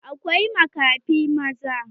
Akwai makafi maza.